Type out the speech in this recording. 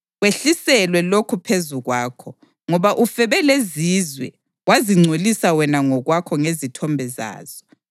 kwehlisele lokhu phezu kwakho, ngoba ufebe lezizwe, wazingcolisa wena ngokwakho ngezithombe zazo.